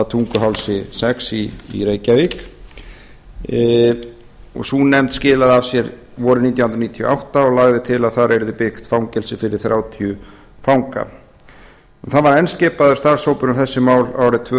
tunguhálsi sex í reykjavík sú nefnd skilaði af sér vorið nítján hundruð níutíu og átta og lagði til að þar yrði byggt fangelsi fyrir þrjátíu fanga enn var skipaður starfshópur um þessi mál árið tvö